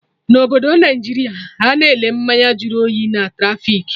Na obodo Naijiria, Ana ele mmanya jụrụ oyi na trafik